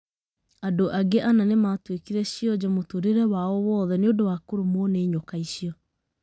Andũ angĩ ana nĩ matuĩkire cionje mũtũũrĩre wao woothe nĩ ũndũ wa kũrumwo nĩ nyoka icio.